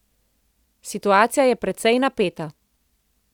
Situacija je precej napeta.